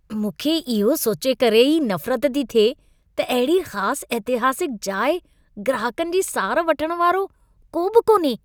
मूंखे इहो सोचे करे ई नफ़रत थी थिए त अहिड़ी ख़ास ऐतिहासिक जाइ ग्राहकनि जी सार वठण वारो को बि कोन्हे।